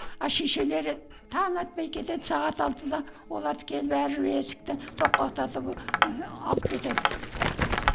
а шешелері таң атпай кетеді сағат алтыда оларды келіп әрбір есікті тоқпақтатып ы алып кетеді